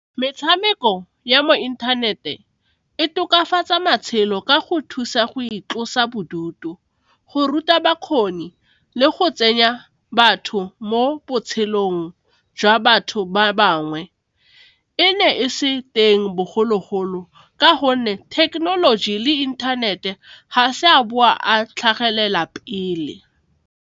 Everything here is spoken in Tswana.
Metshameko ya mo inthanete e tokafatsa matshelo ka go thusa go itlosa bodutu, go ruta bakgoni le go tsenya batho mo botshelong jwa batho ba bangwe, e ne e se teng bogologolo ka gonne thekenoloji le inthanete ga se a boa a tlhagelela pele.